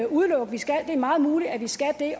udelukke at vi skal det er meget muligt at vi skal det